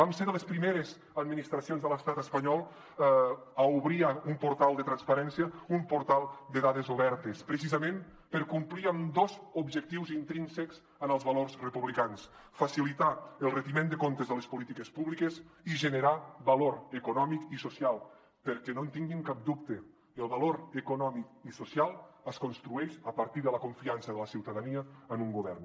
vam ser de les primeres administracions de l’estat espanyol a obrir un portal de transparència un portal de dades obertes precisament per complir amb dos objectius intrínsecs en els valors republicans facilitar el retiment de comptes de les polítiques públiques i generar valor econòmic i social perquè no en tinguin cap dubte el valor econòmic i social es construeix a partir de la confiança de la ciutadania en un govern